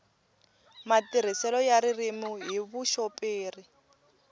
matirhiselo ya ririmi hi vuxoperi